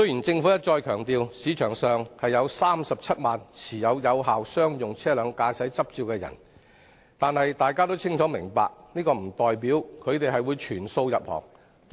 政府一再強調，本港有37萬人持有有效商用車輛駕駛執照，但大家都清楚明白，這並不代表他們會全部投身運輸業。